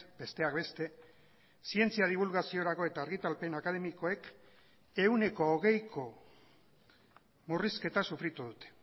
zientzianet besteak beste zientzia dibulgaziorako eta argitalpen akademikoek ehuneko hogeiko murrizketa sufritu